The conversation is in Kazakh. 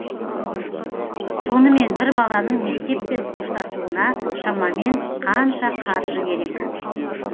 сонымен бір баланың мектеппен қоштасуына шамамен қанша қаржы керек